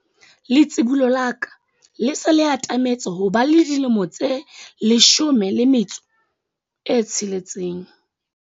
letsibolo la ka le se le atametse ho ba le dilemo tse 16